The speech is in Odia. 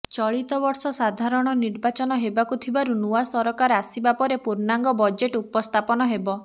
ଚଳିତବର୍ଷ ସାଧାରଣ ନିର୍ବାଚନ ହେବାକୁ ଥିବାରୁ ନୂଆ ସରକାର ଆସିବା ପରେ ପୂର୍ଣ୍ଣାଙ୍ଗ ବଜେଟ୍ ଉପସ୍ଥାପନ ହେବ